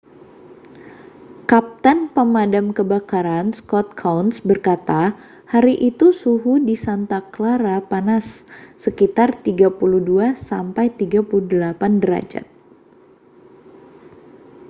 kapten pemadam kebakaran scott kouns berkata hari itu suhu di santa clara panas sekitar 32-38 derajat